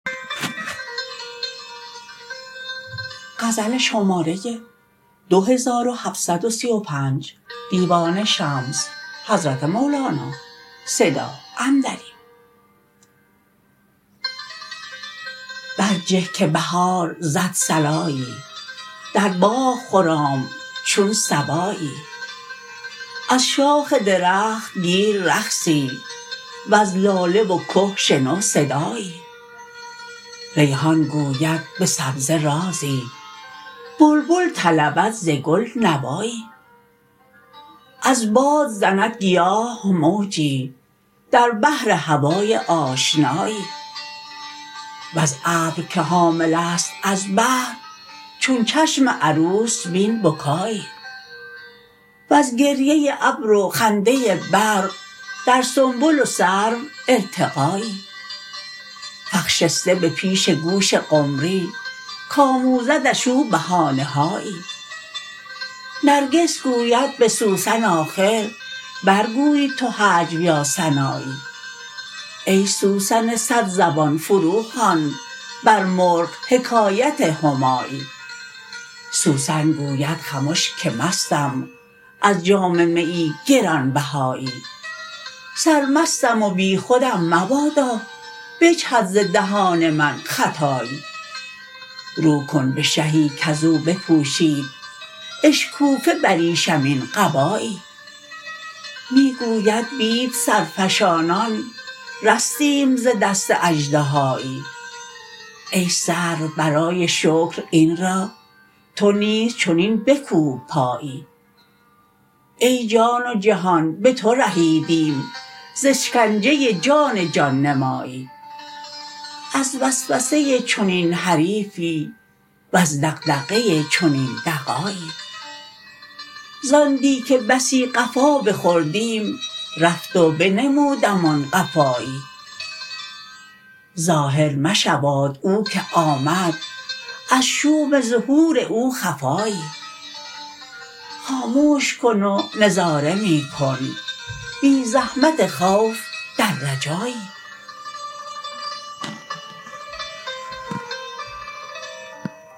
برجه که بهار زد صلایی در باغ خرام چون صبایی از شاخ درخت گیر رقصی وز لاله و که شنو صدایی ریحان گوید به سبزه رازی بلبل طلبد ز گل نوایی از باد زند گیاه موجی در بحر هوای آشنایی وز ابر که حامله ست از بحر چون چشم عروس بین بکایی وز گریه ابر و خنده برق در سنبل و سرو ارتقایی فخ شسته به پیش گوش قمری کموزدش او بهانه هایی نرگس گوید به سوسن آخر برگوی تو هجو یا ثنایی ای سوسن صدزبان فروخوان بر مرغ حکایت همایی سوسن گوید خمش که مستم از جام میی گران بهایی سرمستم و بیخودم مبادا بجهد ز دهان من خطایی رو کن به شهی کز او بپوشید اشکوفه بریشمین قبایی می گوید بید سرفشانان رستیم ز دست اژدهایی ای سرو برای شکر این را تو نیز چنین بکوب پایی ای جان و جهان به تو رهیدیم ز اشکنجه جان جان نمایی از وسوسه چنین حریفی وز دغدغه چنین دغایی زان دی که بسی قفا بخوردیم رفت و بنمودمان قفایی ظاهر مشواد او که آمد از شوم ظهور او خفایی خاموش کن و نظاره می کن بی زحمت خوف در رجایی